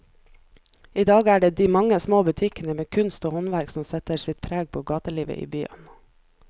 I dag er det de mange små butikkene med kunst og håndverk som setter sitt preg på gatelivet i byen.